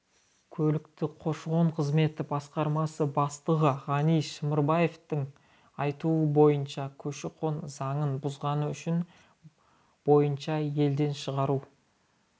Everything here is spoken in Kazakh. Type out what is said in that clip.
көліктегі көші-қон қызметі басқармасы бастығы ғани шымырбаевтың айтуы бойынша көші-қон заңын бұзғаны үшін бойынша елден шығару